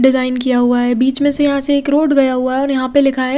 Design किया हुआ है बिच में से यहाँ से एक रोड गया हुआ है और यहाँ पे लिखा है।